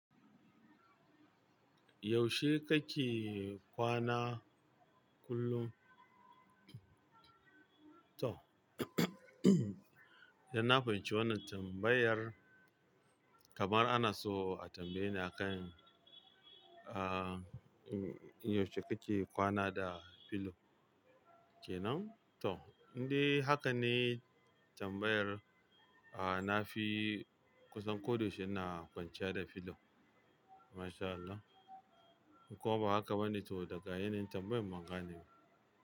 Yaushe kake kwana kullum? To, yan na fahimci wannan tambayar kamar ana so a tambaye ni a kan, ah, yaushe kake kwana da filo kenan? To, indai haka ne tambayar a na fi kusan ko da yaushe ina kwanciya da filo. Masha Allah. Ko ba haka bane to daga yanayin tambayar ban gane ba.